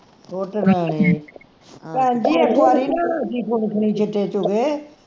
ਸੁੱਟ ਲੈਣੀ ਭੈਣ ਜੀ ਇਕ ਵਾਰੀ ਨਾ ਅਸੀਂ ਸਿੱਟੇ ਚੁਗੇ